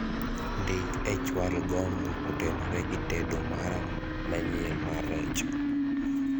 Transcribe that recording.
ndik e chwal gombo kotenore gi tedo mara manyien mar rech